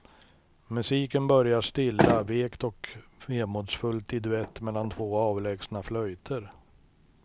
Musiken börjar stilla, vekt och vemodsfullt i duett mellan två avlägsna flöjter.